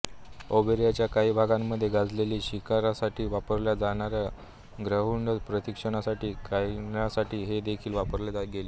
अरेबियाच्या काही भागांमध्ये गेजेलच्या शिकारसाठी वापरल्या जाणार्या ग्रेहाउंडस प्रशिक्षित करण्यासाठी हे देखील वापरले गेले